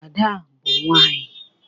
Ada bu nwanyi